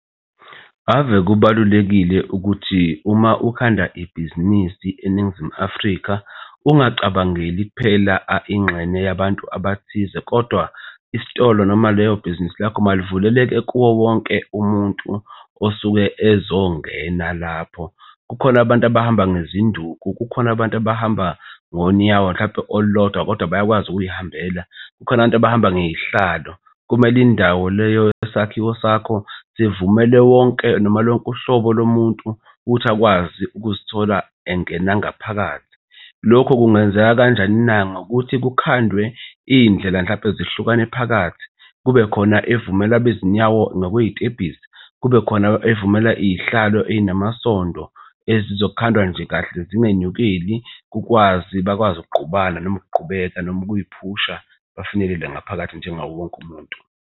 Ave kubalulekile ukuthi uma ukhanda ibhizinisi eNingizimu Afrika ungacabangeli kuphela ingxenye yabantu abathize, kodwa isitolo noma leyo bhizinisi lakho malivuleleke kuwo wonke umuntu osuke ezongena lapho. Kukhona abantu abahamba nezinduku. Kukhona abantu abahamba ngonyawo mhlampe olulodwa kodwa bayakwazi ukuzihambela. Kukhona abantu abahamba ngey'hlalo. Kumele indawo leyo yesakhiwo sakho sivumele wonke noma lonke uhlobo lomuntu ukuthi akwazi ukuzithola engena nangaphakathi. Lokho kungenzeka kanjani na? Ngokuthi kukhandwe iy'ndlela mhlampe zihlukane phakathi. Kube khona evumela abezinyawo nokwey'tebhisi, kube khona evumela iy'hlalo ey'namasondo ezizokhandwa nje kahle zingenyukeli kukwazi bakwazi ukungqubana noma ukugqubeka noma ukuyiphusha, bafinyelele ngaphakathi njengawo wonke umuntu.